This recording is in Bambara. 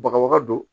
Bagabaga don